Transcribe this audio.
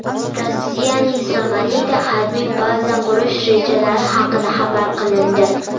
Rossiyaning Somalida harbiy baza qurish rejalari haqida xabar qilindi.